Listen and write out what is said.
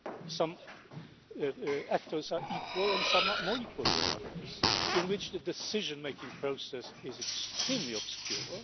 some actors are equal and some are more equal than others and in which the decision making process is extremely obscure.